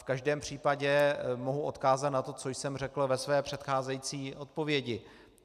V každém případě mohu odkázat na to, co jsem řekl ve své předcházející odpovědi.